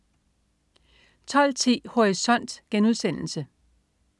12.10 Horisont*